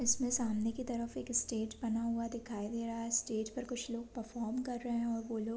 इसमे सामने की तरफ एक स्टेज बना हुआ दिखाई दे रहा है स्टेज पर कुछ लोग परफॉर्म कर रहे हैंऔर वो लोग --